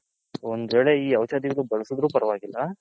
ಒಂದ್ ವೇಳೆ ಈ ಔಷದಿ ಬಳಸದ್ರು ಪರವಾಗಿಲ್ಲ.